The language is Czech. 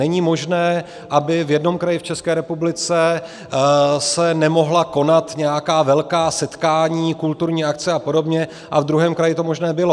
Není možné, aby v jednom kraji v České republice se nemohla konat nějaká velká setkání, kulturní akce a podobně, a v druhém kraji to možné bylo.